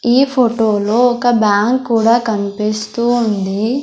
ఈ ఫొటో లో ఒక బ్యాంక్ కూడా కన్పిస్తూ ఉంది.